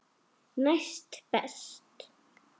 Næst best.